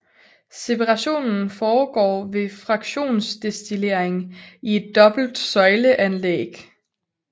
Separationen foregår ved fraktionsdestillering i et dobbelt søjle anlæg